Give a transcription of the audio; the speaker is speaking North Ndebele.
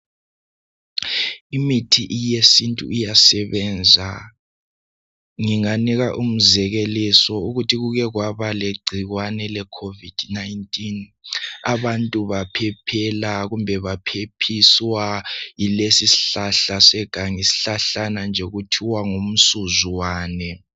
Imithi eyesintu iyasebenza, nginga nika umzekeliso yokuthi kuke kwaba lecikwane le covid 19, abantu baphephiswa yilesi isihlahlane seganga okuthiwa ngumsuzwane.